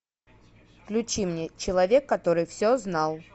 включи мне человек который все знал